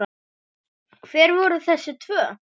Hver voru þessi tvö?